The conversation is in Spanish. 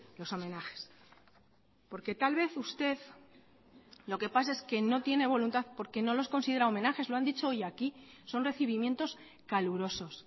los homenajes porque tal vez usted lo que pasa es que no tiene voluntad porque no los considera homenajes lo han dicho hoy aquí son recibimientos calurosos